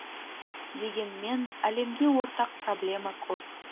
дегенмен әлемге ортақ проблема көп